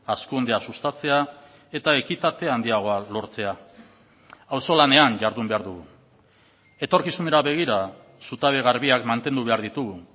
hazkundea sustatzea eta ekitate handiagoa lortzea auzolanean jardun behar dugu etorkizunera begira zutabe garbiak mantendu behar ditugu